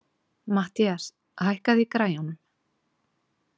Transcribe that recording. Mathías, hækkaðu í græjunum.